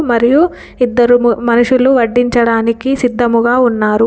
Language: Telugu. మరియు ఇద్దరు మనుషులు వడ్డించడానికి సిద్ధముగా ఉన్నారు.